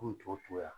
K'u to yan